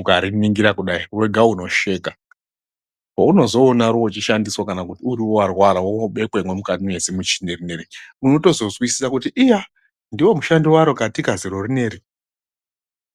ukariningira kudai wega unosheka. Pounozoona roochishandiswa kana kuti uriwe warwara woobekwemo mukati wezimuchini rineri unotozozwisisa kuti iya, ndoomushando waro katika ziro rinori.